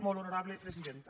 molt honorable presidenta